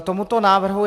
K tomuto návrhu.